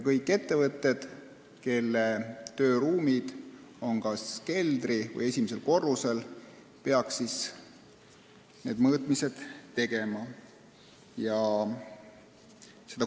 Kõik ettevõtted, kelle tööruumid on kas keldri- või esimesel korrusel, peaks need mõõtmised tegema.